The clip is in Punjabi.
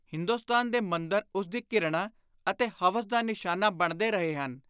ਹਿੰਦੁਸਤਾਨ ਦੇ ਮੰਦਰ ਉਸਦੀ ਘਿਰਣਾ ਅਤੇ ਹਵਸ ਦਾ ਨਿਸ਼ਾਨਾ ਬਣਦੇ ਰਹੇ ਹਨ।